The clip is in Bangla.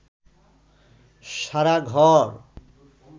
সারা ঘর